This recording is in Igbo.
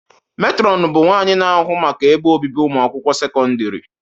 Matron bụ nwanyị na-ahụ maka ebe obibi ụmụakwụkwọ sekọndrị.